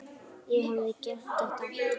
Ég hefði gert þetta aftur.